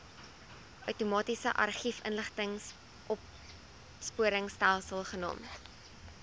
outomatiese argiefinligtingsopspoorstelsel genaamd